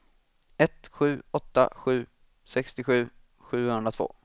ett sju åtta sju sextiosju sjuhundratvå